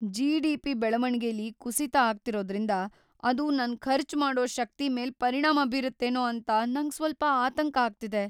GDP. ಬೆಳವಣಿಗೆಲಿ ಕುಸಿತ ಆಗ್ತಿರೋದ್ರಿಂದ ಅದು ನನ್ ಖರ್ಚ್ ಮಾಡೋ ಶಕ್ತಿ ಮೇಲ್ ಪರಿಣಾಮ ಬೀರತ್ತೇನೋ ಅಂತ ನಂಗ್‌ ಸ್ವಲ್ಪ ಆತಂಕ ಆಗ್ತಿದೆ.